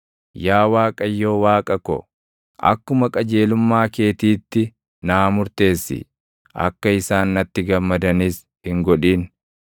Yaa Waaqayyo Waaqa ko, akkuma qajeelummaa keetiitti naa murteessi; akka isaan natti gammadanis hin godhin.